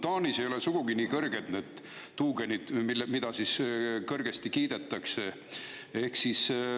Taanis ei ole sugugi nii kõrged need tuugenid, mida kõrgesti kiidetakse.